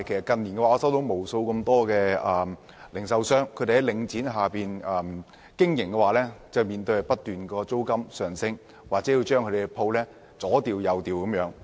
近年來，無數在領展下經營的零售商向我表示，租金不斷上升，或經常被要求搬遷。